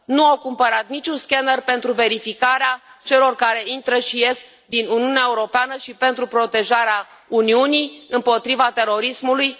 10 Nu au cumpărat niciun scanner pentru verificarea celor care intră și ies din Uniunea Europeană și pentru protejarea Uniunii împotriva terorismului